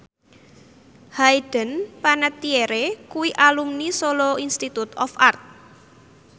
Hayden Panettiere kuwi alumni Solo Institute of Art